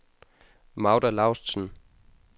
Magda Laustsen